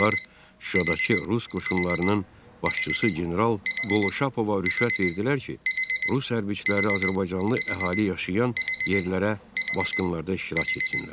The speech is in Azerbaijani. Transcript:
Onlar Şuşadakı rus qoşunlarının başçısı general Qolşapova rüşvət verdilər ki, rus hərbçiləri azərbaycanlı əhali yaşayan yerlərə basqınlarda iştirak etsinlər.